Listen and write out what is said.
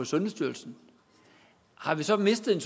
sundhedsstyrelsen har vi så mistet en